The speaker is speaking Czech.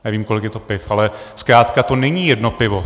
Nevím, kolik je to piv, ale zkrátka to není jedno pivo.